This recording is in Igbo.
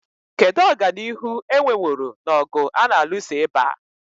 Kedu ọganihu e nweworo n'ọgụ a na-alụso ịba?